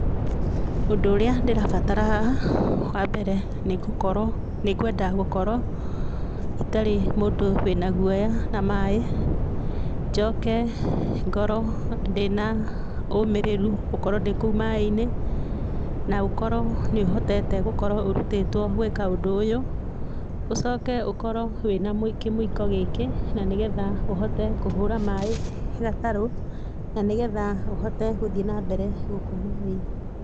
Ũndũ ũrĩa ndĩrabatara haha, wambere nĩngũkorwo nĩngwenda gũkorwo, itarĩ mũndũ wĩna guoya na maĩ, njoke ngorwo ndĩna ũmĩrĩru gũkorwo ndĩ kũu maĩinĩ, na ũkorwo nĩuhotete gũkorwo ũrutĩtwo gwĩka ũndũ ũyũ, ũcoke ũkorwo wĩna mwik kĩmwiko gĩkĩ, na nĩgetha ũhote kũhũra maĩ gatarũ, na nĩgetha ũhote gũthiĩ na mbere gũkũ maĩnĩ.